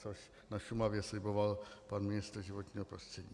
Což na Šumavě sliboval pan ministr životního prostředí.